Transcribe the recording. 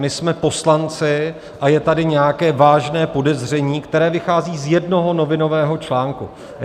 My jsme poslanci a je tady nějaké vážné podezření, které vychází z jednoho novinového článku.